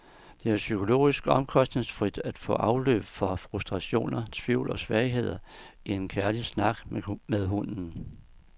Det er psykologisk omkostningsfrit at få afløb for frustrationer, tvivl og svagheder i en kærlig snak med hunden.